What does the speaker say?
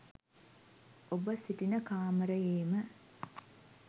ඔබ සිටින කාමරයේම